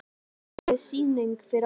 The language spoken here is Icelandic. Að í því yrði aldrei sýning fyrir aðra.